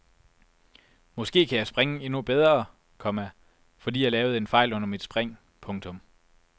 Måske kan jeg springe endnu bedre, komma fordi jeg lavede en fejl under mit spring. punktum